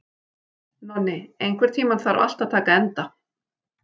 Nonni, einhvern tímann þarf allt að taka enda.